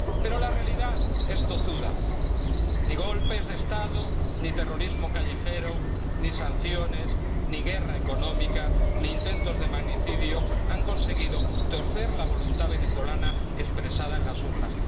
Pero la realidad es tozuda ni golpes de Estado, ni terrorismo callejero, ni sanciones, ni guerra económica, ni intentos de magnicidio han conseguido torcer la voluntad venezolana expresada en las urnas.